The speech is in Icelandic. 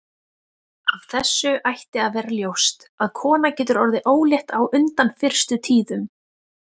Af þessu ætti að vera ljóst að kona getur orðið ólétt á undan fyrstu tíðum.